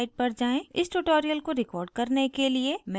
इस tutorial को record करने के लिए मैं प्रयोग कर रही हूँ